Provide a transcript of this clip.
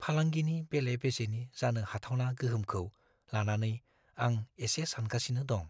फालांगिनि बेले-बेजेनि जानो हाथावना गोहोमखौ लानानै आं एसे सानगासिनो दं।